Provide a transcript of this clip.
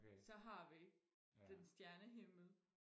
så har vi den stjernehimmel